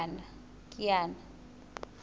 kiana